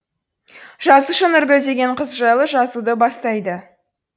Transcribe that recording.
жазушы нұргүл деген қыз жайлы жазуды бастайды